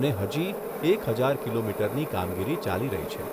અને હજી એક હજાર કિલોમીટરની કામગીરી ચાલી રહી છે.